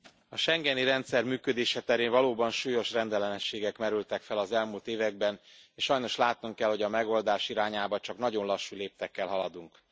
Elnök Úr, a schengeni rendszer működése terén valóban súlyos rendellenességek merültek fel az elmúlt években és sajnos látnunk kell, hogy a megoldás irányába csak nagyon lassú léptekkel haladunk.